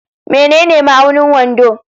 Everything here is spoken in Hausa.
Menene ma'aunin wando?